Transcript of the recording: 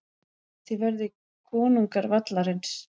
Þið verðið konungar vallarins.